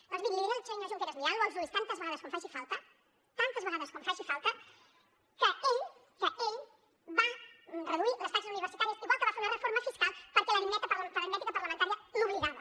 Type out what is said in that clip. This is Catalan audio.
doncs miri li diré al senyor junqueras mirant lo als ulls tantes vegades com faci falta tantes vegades com faci falta que ell va reduir les taxes universitàries igual que va fer una reforma fiscal perquè l’aritmètica parlamentària l’obligava